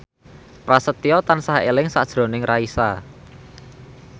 Prasetyo tansah eling sakjroning Raisa